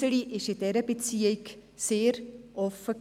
Iseli war in dieser Beziehung sehr offen.